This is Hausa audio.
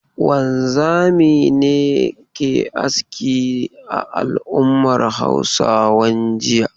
Wanzami ne ke aski a al'ummar Hausawan jiya.